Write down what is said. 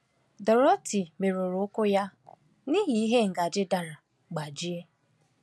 Dorothy merụrụ ụkwụ ya n’ihi ihe ngaji dara gbajie.